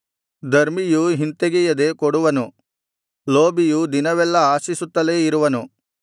ಧರ್ಮಿಯು ಹಿಂತೆಗೆಯದೆ ಕೊಡುವನು ಲೋಭಿಯು ದಿನವೆಲ್ಲಾ ಆಶಿಸುತ್ತಲೇ ಇರುವನು